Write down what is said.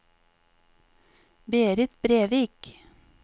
Berit Brevik